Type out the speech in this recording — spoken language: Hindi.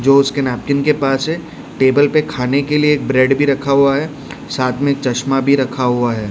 जो उसके नैपकिन के पास है टेबल पे खाने के लिए एक ब्रेड भी रखा हुआ है साथ में चश्मा भी रखा हुआ है।